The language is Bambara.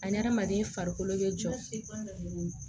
Adamaden farikolo bɛ jɔ